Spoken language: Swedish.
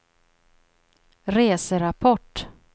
reserapport